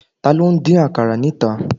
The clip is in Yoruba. Taló n dín àkàrà níta?